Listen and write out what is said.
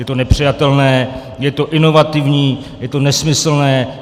Je to nepřijatelné, je to inovativní, je to nesmyslné.